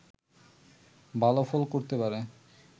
ভালো ফল করতে পারে